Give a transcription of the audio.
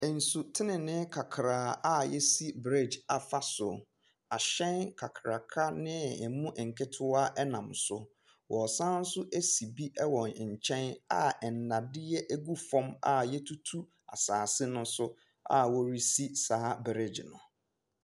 Ensu tenenee kakraa a yasi breegye afa so, ahyɛn kakraka ne emu nketewa ɛnam so, wɔɔsan so asi bi ɛwɔ nkyɛn a ɛnadeɛ egu fɔm a yatutu asaase no so a wɔresi saa breegye no.